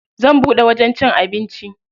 Zan buɗe wajen cin abinci.